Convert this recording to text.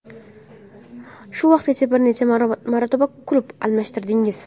Shu vaqtgacha bir necha marotaba klub almashtirdingiz.